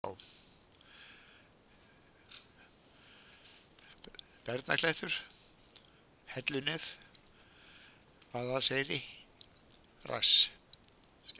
Barnaklettur, Hellunef, Vaðalseyri, Rass